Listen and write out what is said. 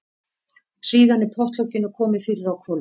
Síðan er pottlokinu komið fyrir á hvolfi.